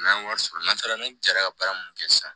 N'an ye wari sɔrɔ n'an sera n'o jara baara mun kɛ sisan